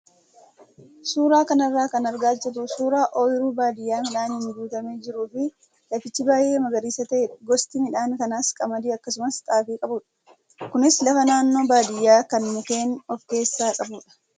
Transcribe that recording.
Suuraa kanarraa kan argaa jirru suuraa ooyiruu baadiyyaa midhaaniin guutamee jiruu fi lafichi baay'ee magariisa ta'edha. Gosti midhaan kanaas qamadii akkasumas xaafii qabudha. Kunis lafa naannoo baadiyyaa kan mukkeen of keessaa qabudha.